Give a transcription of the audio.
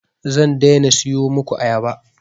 Zan daina siyo muku ayaba